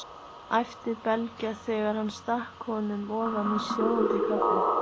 æpti Bylgja þegar hann stakk honum ofan í sjóðandi kaffið.